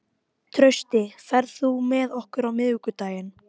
Hún teygir hendurnar upp fyrir höfuðið og réttir úr sér.